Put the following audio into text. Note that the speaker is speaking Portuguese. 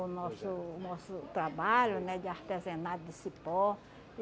O nosso nosso trabalho né de artesanato de cipó.